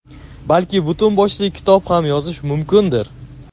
balki butun boshli kitob ham yozish mumkindir.